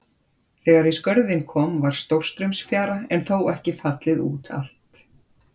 Þegar í Skörðin kom var stórstraumsfjara en þó ekki fallið út allt.